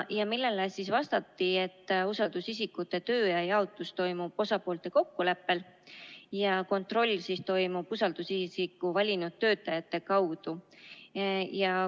Sellele vastati, et usaldusisikute tööaja jaotus toimub osapoolte kokkuleppel ja kontroll toimub usaldusisiku valinud töötajate kaudu.